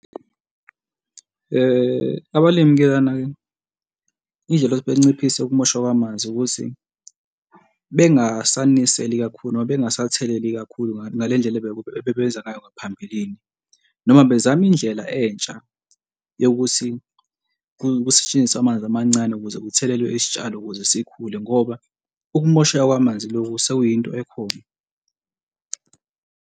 Abalimi-ke lana-ke indlela yokuthi banciphise ukumoshwa kwamanzi ukuthi bengasaniseli kakhulu noma bengasatheleli kakhulu ngale ndlela ebebenza ngayo ngaphambilini noma bezama indlela entsha yokuthi kusetshenziswe amanzi amancane ukuze kuthelelwe isitshalo ukuze sikhule ngoba ukumosheka kwamanzi loku sekuyinto ekhona.